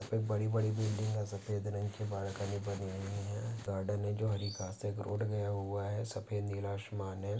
एक बड़ी बड़ी बिल्डिंग है। सफ़ेद रंग के बाल्कनी बनी हुई है। गार्डन है। जो हरी घासे है। एक रोड गया हुआ है। सफ़ेद नीला आसमान है।